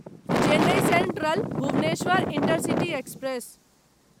Chennai central Bhubaneswar intercity express